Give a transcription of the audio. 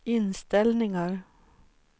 inställningar